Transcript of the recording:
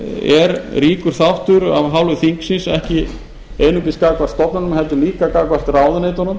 er ríkur þáttur af hálfu þingsins ekki einungis gagnvart stofnunum heldur líka gagnvart ráðuneytunum